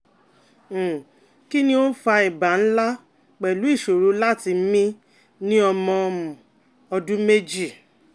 um Kí ni o fa iba nla pelu isoro lati mi ni omo um odun meji?